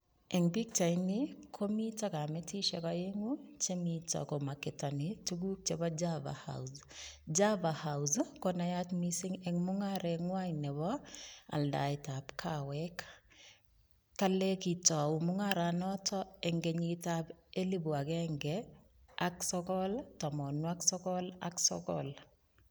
Eng pichaini komi kametishek oenyu chemito komarketani tukuk chebo java house, java house konayat mising eng mungareng'wai nebo aldaetab kawek. kale kitou mung'anotok eng kenyitab elipu agenge ak sogol tamanuk sogol ak sogol.